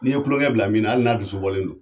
N' ye kulonkɛ bila min na, hali n'a dusu bɔlen don.